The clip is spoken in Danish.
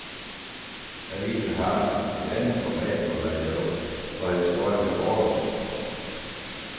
Avisen har et andet format og layout, og historierne er kortere.